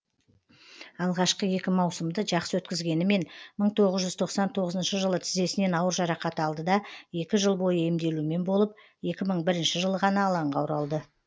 алғашқы екі маусымды жақсы өткізгенімен мың тоғыз жүз тоқсан тоғызыншы жылы тізесінен ауыр жарақат алды да екі жыл бойы емделумен болып екі мың бірінші жылы ғана алаңға оралды